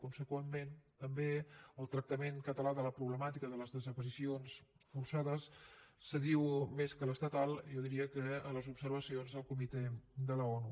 conseqüentment també el tractament català de la problemàtica de les desaparicions forçades s’adiu més que l’estatal jo diria que a les observacions del comitè de l’onu